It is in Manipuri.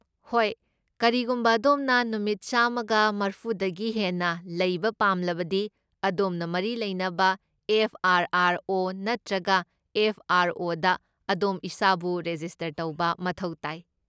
ꯍꯣꯏ, ꯀꯔꯤꯒꯨꯝꯕ ꯑꯗꯣꯝꯅ ꯅꯨꯃꯤꯠ ꯆꯥꯝꯃꯒ ꯃꯔꯐꯨꯗꯒꯤ ꯍꯦꯟꯅ ꯂꯩꯕ ꯄꯥꯝꯂꯕꯗꯤ, ꯑꯗꯣꯝꯅ ꯃꯔꯤ ꯂꯩꯅꯕ ꯑꯦꯐ. ꯑꯥꯔ. ꯑꯥꯔ. ꯑꯣ. ꯅꯠꯇ꯭ꯔꯒ ꯑꯦꯐ. ꯑꯥꯔ. ꯑꯣ. ꯗ ꯑꯗꯣꯝ ꯏꯁꯥꯕꯨ ꯔꯦꯖꯤꯁꯇꯔ ꯇꯧꯕ ꯃꯊꯧ ꯇꯥꯏ꯫